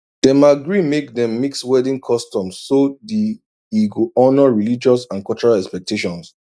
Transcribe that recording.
dem agree make dem mix wedding customs so the e go honour religious and cultural expectations